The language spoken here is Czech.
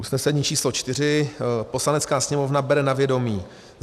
Usnesení číslo 4: Poslanecká sněmovna bere na vědomí